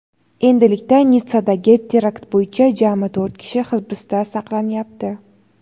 Endilikda Nitssadagi terakt bo‘yicha jami to‘rt kishi hibsda saqlanyapti.